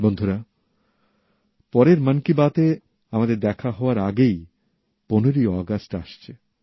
বন্ধুরা পরের মন কি বাত এ আমাদের দেখা হওয়ার আগেই ১৫ ই আগস্ট আসছে